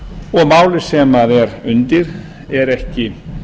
og málið sem er undir er ekki